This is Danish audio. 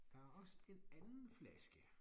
Der er også en anden flaske